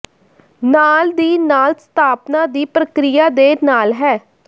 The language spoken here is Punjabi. ਨਾਲ ਦੀ ਨਾਲ ਸਥਾਪਨਾ ਦੀ ਪ੍ਰਕਿਰਿਆ ਦੇ ਨਾਲ ਹੈ